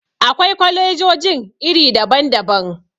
Akwai kwalejojin iri daban-daban.